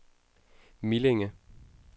Millinge